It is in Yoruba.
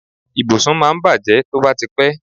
Ibùsùn máa ń bàjé tó bá ti pé.